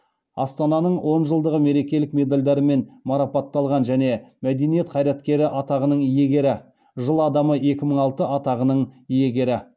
астананың он жылдығы мерекелік медальдарымен марапатталған және мәдениет қайраткері атағының иегері жыл адамы екі мың алты атағының иегері